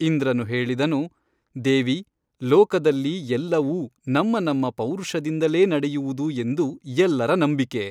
ಇಂದ್ರನು ಹೇಳಿದನು ದೇವಿ ಲೋಕದಲ್ಲಿ ಎಲ್ಲವೂ ನಮ್ಮ ನಮ್ಮ ಪೌರುಷದಿಂದಲೇ ನಡೆಯುವುದು ಎಂದು ಎಲ್ಲರ ನಂಬಿಕೆ.